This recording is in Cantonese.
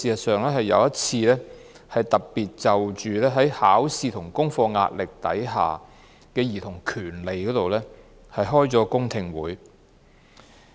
事實上，我們更特別就考試和功課壓力下的兒童權利舉行過一次公聽會。